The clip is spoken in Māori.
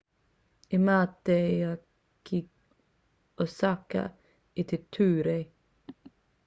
i mate ia ki osaka i te tūrei